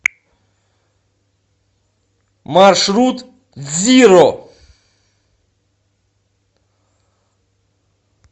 маршрут дзиро